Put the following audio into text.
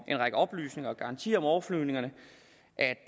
en række oplysninger og garantier om overflyvningerne